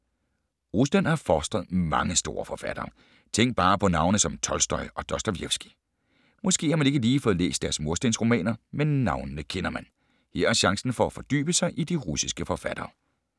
Rusland har fostret mange store forfattere. Tænk bare på navne som Tolstoj og Dostojevskij. Måske har man ikke lige fået læst deres murstensromaner, men navnene kender man. Her er chancen for at fordybe sig i de russiske forfattere.